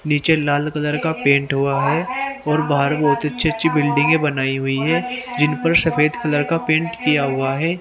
नीचे लाल कलर का पेंट हुआ है और बाहर बहुत अच्छे अच्छे बिल्डिंगें बनाई हुई हैं जिन पर सफेद कलर का पेंट किया हुआ है।